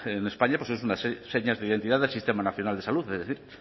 en españa pues es una de sus señas de identidad del sistema nacional de salud